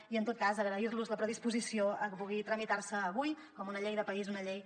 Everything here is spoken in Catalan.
i en tot cas agrair los la predisposició a que pugui tramitar se avui com una llei de país una llei